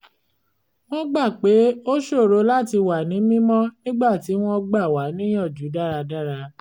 wọ́n gbà pé ó ṣòro láti wà ní mímọ́ nígbà tí wọ́n gbà wá níyànjú dára dára